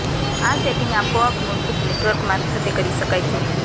આ સેટિંગ આપોઆપ મૂળભૂત નેટવર્ક મારફતે કરી શકાય જોઈએ